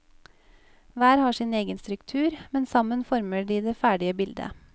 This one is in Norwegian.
Hver har sin egen struktur, men sammen former de det ferdige bilde.